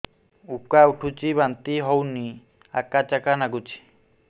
ଉକା ଉଠୁଚି ବାନ୍ତି ହଉନି ଆକାଚାକା ନାଗୁଚି